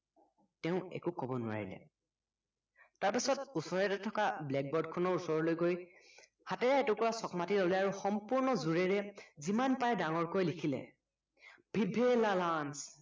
তেওঁ একো কব নোৱাৰিলে তাৰ পাছত উচৰতে থকা blackboard খনৰ ওচৰলৈ গৈ হাতত এটোকুৰা চকমাটি উলিয়াই আৰু সম্পূৰ্ণ জোৰেৰে যিমান পাৰে ডাঙৰকৈ লিখিলে viva lalan